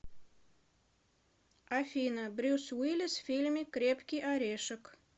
афина брюс уиллис в фильме крепкий орешек